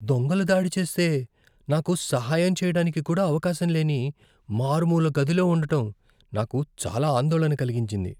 దొంగలు దాడి చేస్తే, నాకు సహాయం చేయడానికి కూడా అవకాశం లేని మారుమూల గదిలో ఉండటం నాకు చాలా ఆందోళన కలిగించింది.